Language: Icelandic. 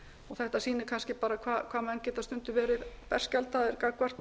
þetta sýnir kannski hvað bent geta stundum verið berskjaldaðir gagnvart